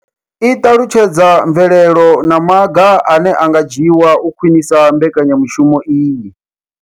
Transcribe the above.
I ṱalutshedza mvelelo na maga ane a nga dzhiwa u khwinisa mbekanya mushumo iyi.